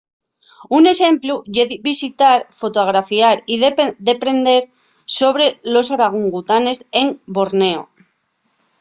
un exemplu ye visitar fotografiar y deprender sobre los orangutanes en borneo